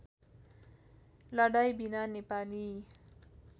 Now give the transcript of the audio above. लडाईँँ बिना नेपाली